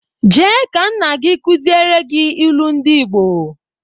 Jee ka nna gị kụziere gị ilu ndị Ịgbo!